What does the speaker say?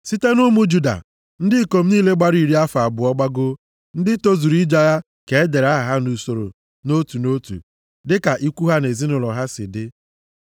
Site nʼụmụ Juda, ndị ikom niile gbara iri afọ abụọ gbagoo, ndị tozuru ije agha ka e dere aha ha nʼusoro nʼotu nʼotu dịka ikwu ha na ezinaụlọ ha si dị.